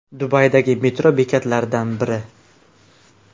Dubaydagi metro bekatlaridan biri.